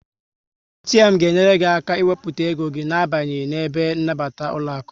ATM ga enyere gị aka ị wepụta ego gị na abanyeghi n'ebe nnabata ụlọaku